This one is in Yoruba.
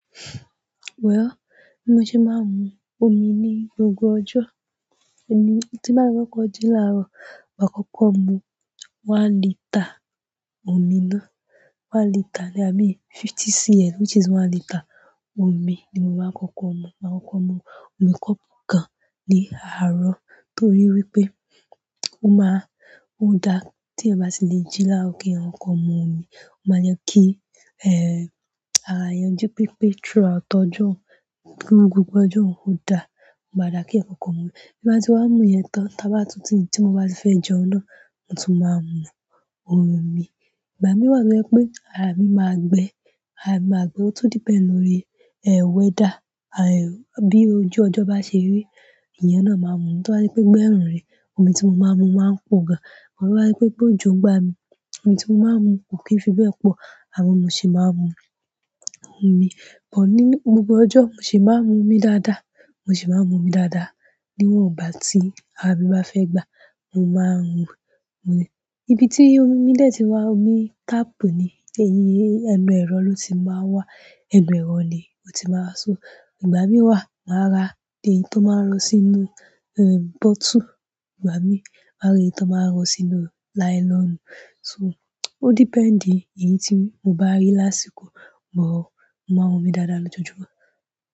Wè ọ́, mo ṣe máa ń mu omi ní gbogbo ọjọ́. Ẹ̀mi tí bàá kókó ji láàárọ̀, máa kọ́kọ́ mu one litre omi ná. One litre ni, i mean 50cl which is one litre omi ni mo máa kọ́kọ́ mu. Màá kọ́kọ́ mu omi kọ́bu kan ní àárọ̀ torí wípé ó máa, ó da tí ẹ̀ bá sì lè jí láàárọ̀ kí yan kokọ mu ọmí, ó máa jẹ kí, eh, ara èèyàn jí pípé through out ọjọ́, gbogbo gbogbo ọjọ́ o da. Ó maa da kí eyan kọ́kọ́ mu. Bí bá ti wá mu yẹn tán, tí bá tu tíì tí mo bá sì fẹ́ jẹun náà, mo tún máa ń mu ohun mi. Ìgbà mí wà tó jẹ pé ara mi máa gbẹ, ara mi máa gbẹ, ó tún depend lórí, eh, weather, àì, bí ojú ọjọ́ bá ṣe rí, ẹ̀yan náà máa mù omí. Tí bàá je pé gbẹ́run rẹ̀, omi tí mo máa ń mu máa pọ̀ gan. Mo máa rí wípé gbóojo n gba mi, omi tí mo máa ń mu kò kí ń fi bẹ́ẹ̀ pọ̀, àwọ̀ ló ṣe máa ń mu omi. Bọ̀ ní gbogbo ọjọ́, mo ṣì máa ń mu omi dáadáa, mo ṣì máa ń mu omi dáadáa. Ni wọ́n ò bá tí ara mi bá fẹ́ gbà á, mo máa ń mu omi. Ibi tí omi dè ti wá, omi tap ni, èyí ẹnu ẹ̀rọ ló ti máa ń wá. Ẹnu ẹ̀rọ ni ó ti máa ń so. Ìgbà mí wà, màá ra èyí tó máa ń lọ sínú, eh, bottle, ìgbà mí màá rí tó máa ń lọ sínú nylon. So, o depend ìyí tí mo bá rí lásìkò, bọ̀ mo máa ń mu omi dáadáa lójoojúmọ́.